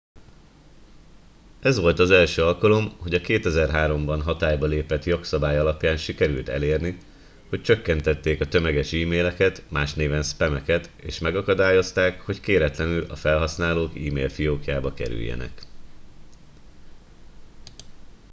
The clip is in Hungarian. ez volt az első alkalom hogy a 2003 ban hatályba lépett jogszabály alapján sikerült elérni hogy csökkentették a tömeges emaileket más néven spam eket és megakadályozták hogy kéretlenül a felhasználók email fiókjába kerüljenek